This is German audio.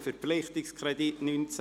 Verpflichtungskredit 2019–2026.